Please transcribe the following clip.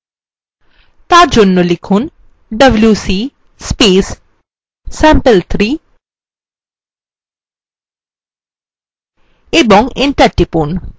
for জন্য লিখুন wc sample3 এবং enter টিপুন